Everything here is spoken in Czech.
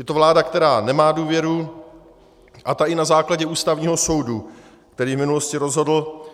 Je to vláda, která nemá důvěru, a ta i na základě Ústavního soudu, který v minulosti rozhodl,